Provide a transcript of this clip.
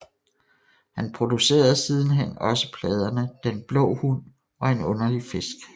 Han producerede sidenhen også pladerne Den blå hund og En underlig fisk